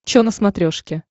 чо на смотрешке